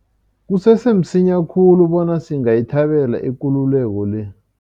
Kusese msinya khulu bona singayithabela ikululeko le.